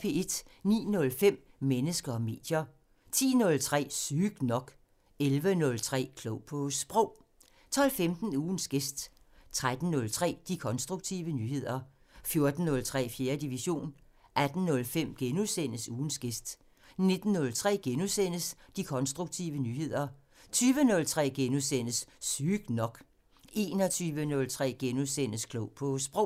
09:05: Mennesker og medier 10:03: Sygt nok 11:03: Klog på Sprog 12:15: Ugens gæst 13:03: De konstruktive nyheder 14:03: 4. division 18:05: Ugens gæst * 19:03: De konstruktive nyheder * 20:03: Sygt nok * 21:03: Klog på Sprog *